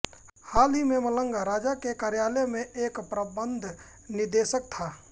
हाल ही में मलंगा राजा के कार्यालय में एक प्रबंध निदेशक था